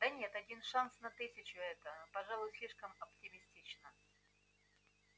да нет один шанс на тысячу это пожалуй слишком оптимистично